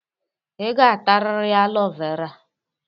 Ị ga-atarịrị alo vera.